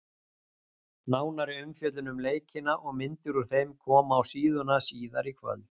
Nánari umfjöllun um leikina og myndir úr þeim koma á síðuna síðar í kvöld.